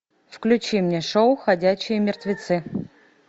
включи мне шоу ходячие мертвецы